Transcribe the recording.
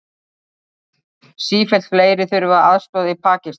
Sífellt fleiri þurfa aðstoð í Pakistan